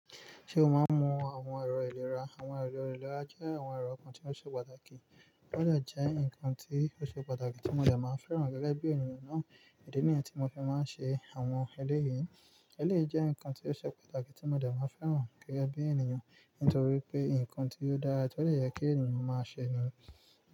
Ṣé o máa ń mu àwọn ẹ̀rọ ìlera? Àwọn ẹ̀rọ ìlera jẹ́ àwọn ẹ̀rọ kan tí ó ṣe pàtàkì. Ó dà jẹ́ ǹkan tí ó ṣe pàtàkì tí mo dà máa ń fẹ́ràn gẹ́gẹ́ bí ènìyàn náà. Ìdí nìyẹn tí mo fi máa ń ṣe àwọn ẹlẹ́ yìí. Ẹléyi jẹ́ ǹkan tí ó ṣe pàtàkì tí mo dà máa ń fẹ́ràn gẹ́gẹ́ bí ènìyàn. Nítorí pé ǹkan tí ó dára to de yẹ kí ènìyàn máa ṣe ni.